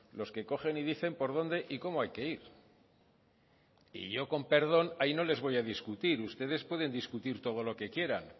los que cogen y dicen por dónde y cómo hay que ir y yo con perdón ahí no les voy a discutir ustedes pueden discutir todo lo que quieran